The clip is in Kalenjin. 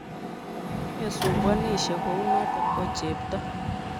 Mesumbwanishe kunoto ooh chepto.